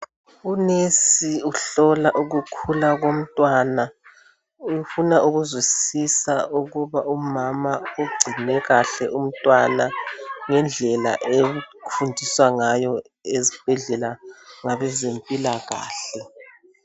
Unesi uhlola ukukhula komntwana, ufuna ukuzwisisa ukuba umama ugcine kahle umntwana ngendlela efundiswa ngayo ezibhedlela ngabezempilkahle